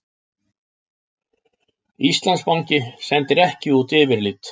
Íslandsbanki sendir ekki út yfirlit